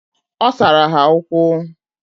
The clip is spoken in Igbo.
Osara ha ukwu.